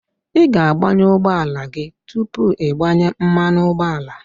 Ị ga-agbanyụ ụgbọala gị tupu ịgbanye mmanụ ụgbọala